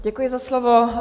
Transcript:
Děkuji za slovo.